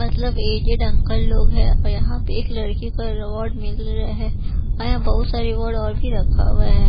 मतलब aged uncle लोग हैं और यहाँ पे एक लड़की का रिवार्ड मिल रहा है और यहाँ बहुत सारे रिवार्ड और भी रखा हुआ हैं।